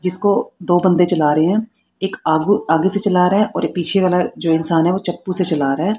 जिसको दो बंदे चला रहे है एक आगू आगे से चला रहा है और पीछे वाला जो इंसान है वो चप्पू से चला रहा हैं।